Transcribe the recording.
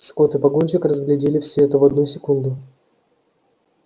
скотт и погонщик разглядели всё это в одну секунду